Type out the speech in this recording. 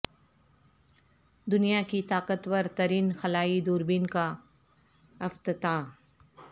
دنیا کی طاقت ور ترین خلائی دوربین کا افتتاح